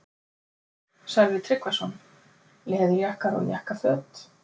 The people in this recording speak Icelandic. Sölvi Tryggvason: Leðurjakkar og jakkaföt?